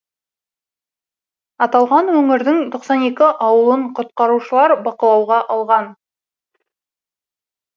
аталған өңірдің тоқсан екі ауылын құтқарушылар бақылауға алған